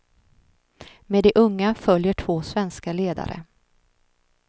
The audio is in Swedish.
Med de unga följer två svenska ledare.